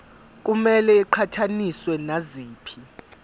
kumele iqhathaniswe naziphi